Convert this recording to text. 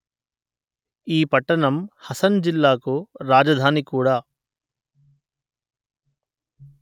ఈ పట్టణం హసన్ జిల్లాకు రాజధాని కూడా